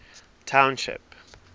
township